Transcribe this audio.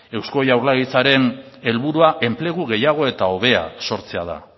eusko jaurlaritzaren helburua enplegu gehiago eta hobea sortzea da